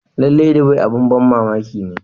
Lallai, Dubai abin ban mamaki ne.